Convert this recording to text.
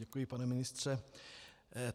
Děkuji, pane ministře.